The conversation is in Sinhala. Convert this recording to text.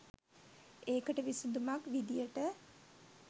ඒකට විසඳුමක් විධියට